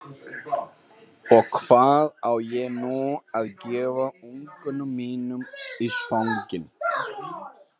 Og hvað á ég nú að gefa ungunum mínum í svanginn?